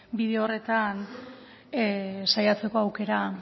bide horretan saiatzeko aukera